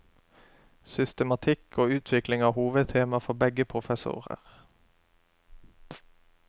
Systematikk og utvikling er hovedtema for begge professorer.